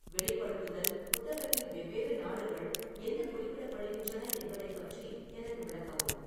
வெளிப்படுத்துதல் புத்தகத்தில் வெவ்வேறு நாடுகள் என்ன குறிப்பிடப்படுகின்றன என்பதைப் பற்றி எனக்கு விளக்கவும்